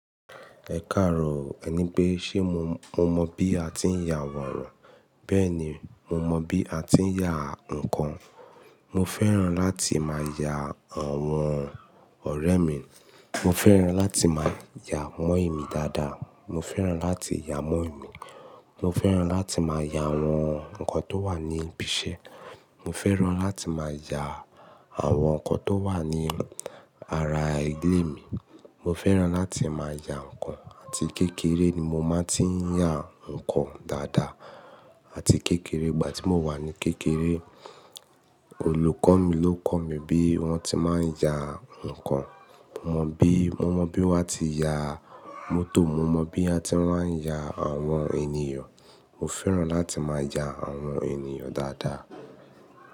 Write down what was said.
Ẹ káàró, ẹ ní pé ṣe mo, mo mọ bí a ti ń ya àwòrán. Bẹ́ẹ̀ ni, mo mọ bí a ti ń ya nǹkan. Mo fẹ́ràn láti máa ya àwọn ọ̀rẹ́ mi, mo fẹ́ràn láti máa ya mo i ìmi daada, mo fẹ́ràn láti ya mọ́ìmí, mo fẹ́ràn láti máa ya àwọn nǹkan tó wà ní ibi iṣẹ́, mo fẹ́ràn láti máa ya àwọn nǹkan tó wà ní ara ilé mi, mo fẹ́ràn láti máa ya nǹkan, àti kékeré ni mo máa ti ń ya nǹkan dáadáa. Àti kékeré, ìgbà tí mo wà ní kékeré olùkọ́ mi ló kọ̀ mí bí wọ́n ti máa ń ya nǹkan. Mo mọ bí, mo mọ bí wọ́n ti ya mótò, mo mọ bí a ti máa ń ya àwọn ènìyàn. Mo fẹ́ràn láti máa ya àwọn ènìyàn dáadáa.